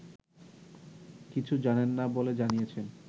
কিছু জানেন না বলে জানিয়েছেন